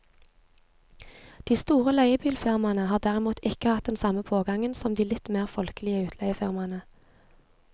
De store leiebilfirmaene har derimot ikke hatt den samme pågangen som de litt mer folkelige utleiefirmaene.